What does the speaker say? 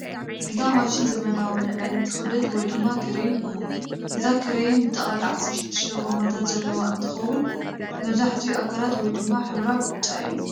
እዛ ማሽን ዘመናዊ መልዐሊት ክብደት ወይ ድማ ክረይን እያ፡፡ እዛ ክረይን ብጠቅላላ 16 ጎማታትዘለውዋ እንትከውን መብዛሕትኡ አካላ ወይድማ ሕብራ ብጫ እዩ፡፡